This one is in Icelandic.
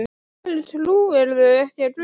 Af hverju trúirðu ekki á guð?